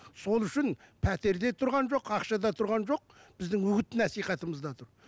сол үшін пәтерде тұрған жоқ ақшада тұрған жоқ біздің үгіт насихатымызда тұр